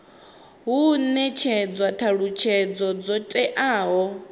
hu netshedzwa thalutshedzo dzo teaho